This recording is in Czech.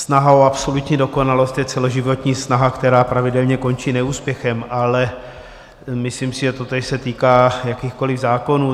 Snaha o absolutní dokonalost je celoživotní snaha, která pravidelně končí neúspěchem, ale myslím si, že totéž se týká jakýchkoliv zákonů.